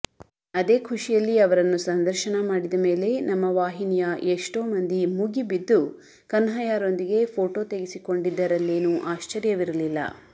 ಅದೇ ಖುಷಿಯಲ್ಲಿ ಅವರನ್ನು ಸಂದರ್ಶನ ಮಾಡಿದ ಮೇಲೆ ನಮ್ಮ ವಾಹಿನಿಯ ಎಷ್ಟೋ ಮಂದಿ ಮುಗಿಬಿದ್ದು ಕನ್ಹಯ್ಯರೊಂದಿಗೆ ಫೋಟೋ ತೆಗೆಸಿಕೊಂಡಿದ್ದರಲ್ಲೇನೂ ಆಶ್ಚರ್ಯವಿರಲಿಲ್ಲ